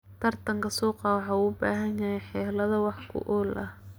Tartanka suuqa waxa uu u baahan yahay xeelado wax ku ool ah.